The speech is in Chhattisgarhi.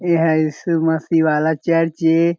एहा यीशु मसीह वाला चर्च ए।